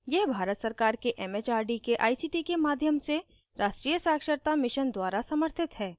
यह भारत सरकार के it it आर डी के आई सी टी के माध्यम से राष्ट्रीय साक्षरता mission द्वारा समर्थित है